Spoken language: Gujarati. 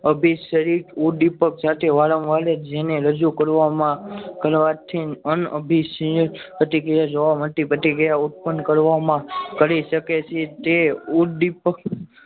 અભી સદિક ઉદ્દીપક સાથે વારંવાર જેને રજુ કરવામાં કરવાથી છીએ પ્રતિક્રિયા જોવા માટે પ્રતિક્રિયા વહન કરવામાં કરી શકે છે તે ઉદ્દીપક